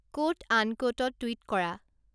quote আনক্যোটত tweet কৰা